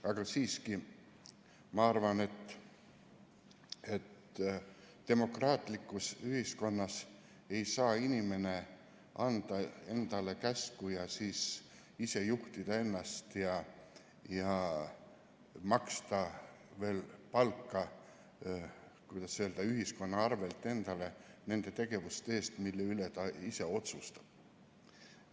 Aga siiski ma arvan, et demokraatlikus ühiskonnas ei saa inimene anda endale käsku, siis ise juhtida ennast ja maksta veel palka, kuidas öelda, ühiskonna arvel endale nende tegevuste eest, mille üle ta ise otsustab.